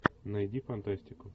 найди фантастику